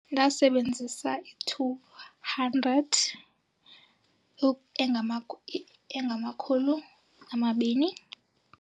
Ndasebenzisa i-two hundred engamakhulu amabini.